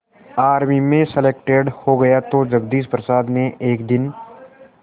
army में selected हो गया तो जगदीश प्रसाद ने एक दिन